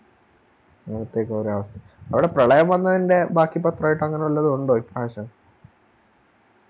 അവിടെ പ്രളയം വന്നതിൻറെ ബാക്കി ഒണ്ട് Connection